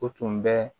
O tun bɛ